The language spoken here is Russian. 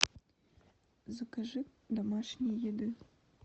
закажи домашней еды